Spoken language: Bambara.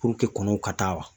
kɔnɔw ka taa wa